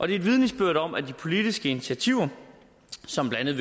det er vidnesbyrd om at de politiske initiativer som blandt